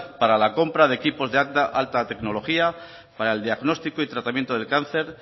para la compra de equipos de alta tecnología para el diagnóstico y tratamiento del cáncer